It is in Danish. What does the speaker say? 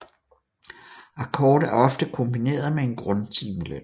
Akkord er ofte kombineret med en grundtimeløn